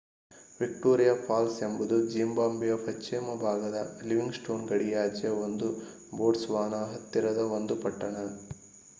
Victoria Falls ಎಂಬುದು ಜಿಂಬಾಬ್ವೆಯ ಪಶ್ಚಿಮ ಭಾಗದ ಲಿವಿಂಗ್‍‌ಸ್ಟೋನ್ ಗಡಿಯಾಚೆಯ ಮತ್ತು ಬೋಟ್ಸವಾನಾ ಹತ್ತಿರದ ಒಂದು ಪಟ್ಟಣ